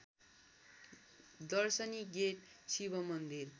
दर्शनी गेट शिवमन्दिर